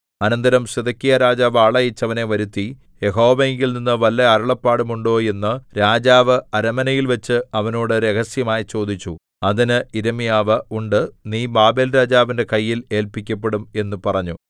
അനന്തരം സിദെക്കീയാരാജാവ് ആളയച്ച് അവനെ വരുത്തി യഹോവയിങ്കൽനിന്ന് വല്ല അരുളപ്പാടും ഉണ്ടോ എന്ന് രാജാവ് അരമനയിൽവച്ച് അവനോട് രഹസ്യമായി ചോദിച്ചു അതിന് യിരെമ്യാവ് ഉണ്ട് നീ ബാബേൽരാജാവിന്റെ കയ്യിൽ ഏല്പിക്കപ്പെടും എന്ന് പറഞ്ഞു